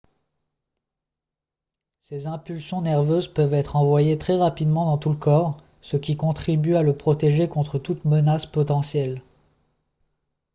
ces impulsions nerveuses peuvent être envoyées très rapidement dans tout le corps ce qui contribue à le protéger contre toute menace potentielle